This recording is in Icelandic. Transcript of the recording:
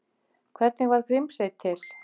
Hvernig varð Grímsey til?